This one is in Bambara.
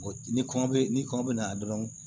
Ni kɔngɔ bɛ ni kɔngɔ bɛna dɔrɔn